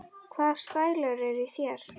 Hvaða stælar eru í þér?